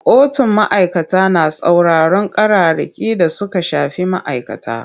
Kotun ma'aikata na sauraron ƙararraki da suka shafi ma'aikata.